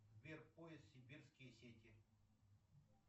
сбер поиск сибирские сети